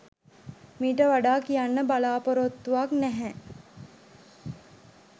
මිට වඩා කියන්න බලාපොරොත්තුවක් නැහැ